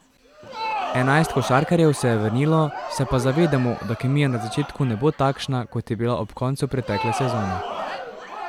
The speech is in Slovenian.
Enajst košarkarjev se je vrnilo, se pa zavedamo, da kemija na začetku ne bo takšna, kot je bila ob koncu pretekle sezone.